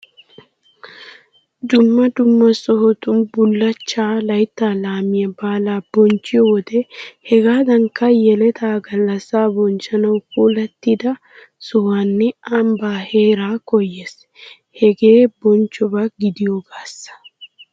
Dumma dumma sohotun bullaachchaa, laytta laamiya baalaa bonchchiyo wode hegaadankka yeletaa gallassaa bonchchanawu puulattida sohuwanne ambbaa heeraa koyees. Hegee bonchchoba gidiyogaassa.